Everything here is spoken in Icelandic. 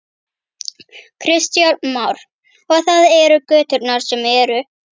Kristján Már: Og það eru göturnar sem eru?